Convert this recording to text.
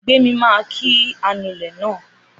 Gbémi máa kí anulẹ̀ náà